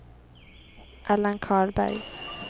Allan Karlberg